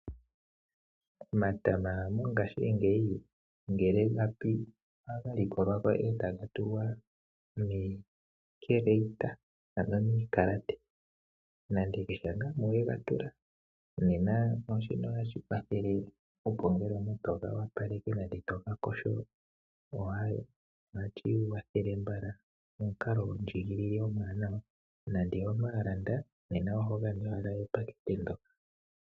Omatama mongaashingeyi ngele ga li ohaga likolwa ko, etaga tulwa miikeleyita ano miikalate. Nande tutye ngaa mu wega tula. Ano tutye nande omuntu toga opaleke nengeto ha yogo, ohashi kwathele nawa, go omukalo gondjigilile omuwanawa, nande omuntu wa landa, nena ohoga lulilwa ashike epakete ndo.